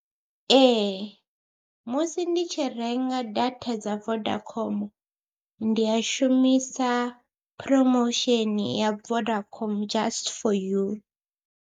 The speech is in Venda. Ee musi ndi tshi renga data dza Vodacom ndi a shumisa phromosheni ya Vodacom just for you.